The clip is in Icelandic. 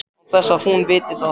Án þess að hún viti það.